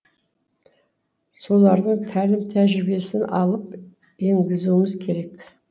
солардың тәлім тәжірибесін алып енгізуіміз керек